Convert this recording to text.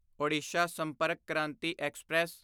Odisha Sampark Kranti express